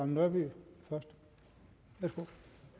nørby værsgo